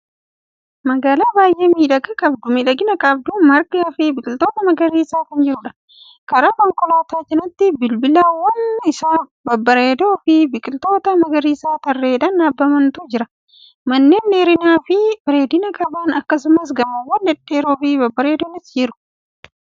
Magaalaa baay'ee miidhagina qabdu. margifi biqiltoonni magariisnis ni jiru. karaa konkolaataa cinaatti balbiiwwan Isaa babbareedoofi biqiltoota magariisa tarreedhan dhaabamantu jira. manneen dheerinafi bareedina qaban akkasumas gamoowwan dhedheeroofi babbareedoonis jiru. konkolaattonni karaa irra adeemaa jiru.